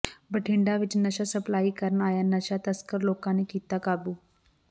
ਬਠਿੰਡਾ ਵਿੱਚ ਨਸ਼ਾ ਸਪਲਾਈ ਕਰਨ ਆਇਆ ਨਸ਼ਾ ਤਸਕਰ ਲੋਕਾਂ ਨੇ ਕੀਤਾ ਕਾਬੂ